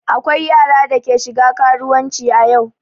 Akwai yara da ke shiga karuwanci a yau.